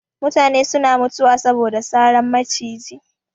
Mutane suna mutuwa saboda saran maciji